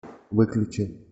выключи